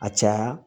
A caya